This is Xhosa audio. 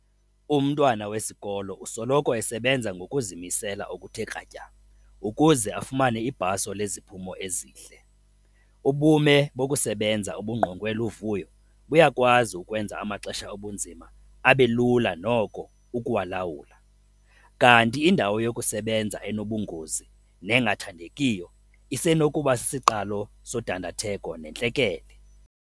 Umntwana wesikolo usoloko esebenza ngokuzimisela okuthe kratya ukuze afumane ibhaso leziphumo ezihle. Ubume bokusebenza obungqongwe luvuyo buyakwazi ukwenza amaxesha obunzima abe lula noko ukuwalawula kanti indawo yokusebenza enobungozi nengathandekiyo isenokuba sisiqalo sodandatheko nentlekele.